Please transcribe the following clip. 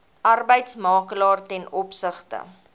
arbeidsmakelaar ten opsigte